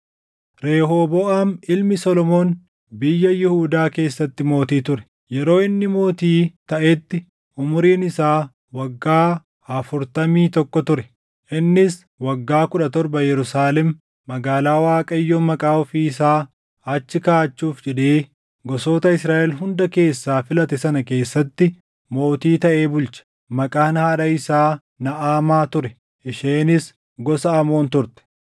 Rehooboʼaam ilmi Solomoon biyya Yihuudaa keessatti mootii ture. Yeroo inni mootii taʼetti umuriin isaa waggaa afurtamii tokko ture; innis waggaa kudha torba Yerusaalem magaalaa Waaqayyo Maqaa ofii isaa achi kaaʼachuuf jedhee gosoota Israaʼel hunda keessaa filate sana keessatti mootii taʼee bulche. Maqaan haadha isaa Naʼamaa ture; isheenis gosa Amoon turte.